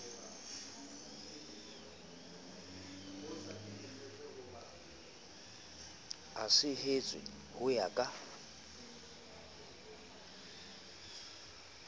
a sehetswe ho ya ka